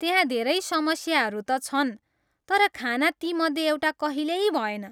त्यहाँ धेरै समस्याहरू त छन् तर खाना तीमध्ये एउटा कहिल्यै भएन!